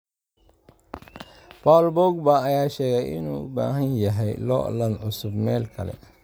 Paul Pogba ayaa sheegay inuu u baahan yahay loolan cusub meel kale